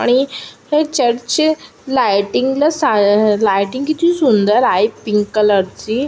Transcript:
आणि हे चर्च ची लायटिंग ला सा लायटिंग किती सुंदर आहे पिंक कलर ची.